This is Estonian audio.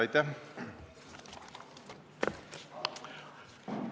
Aitäh!